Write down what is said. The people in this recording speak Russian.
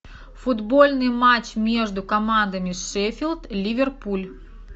футбольный матч между командами шеффилд ливерпуль